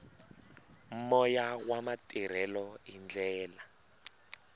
moya wa matirhelo hi ndlela